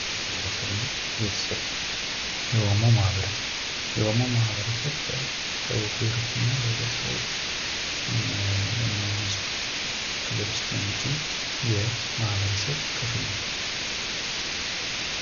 ማህበረሰብና ቤተሰብ፤ የኦሞ ማህበረሰብ፦ የኦሞ ማህበረሰብ በደቡብ ብሄሮችና ብሄረሰቦች እንዲሁም ህዝቦች ክልል ውስጥ የሚገኝ የማህበረሰብ ክፍል ነው።